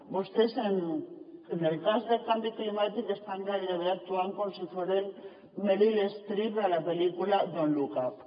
vostès en el cas del canvi climàtic estan gairebé actuant com si foren meryl streep a la pel·lícula don’t look up